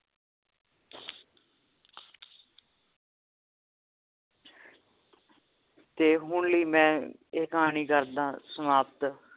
ਤੇ ਹੁਣ ਲਈ ਮੈਂ ਇਹ ਕਹਾਣੀ ਕਰਦਾਂ ਸਮਾਪਤ